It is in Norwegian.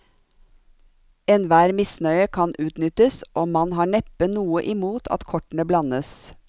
Enhver misnøye kan utnyttes, og man har neppe noe imot at kortene blandes.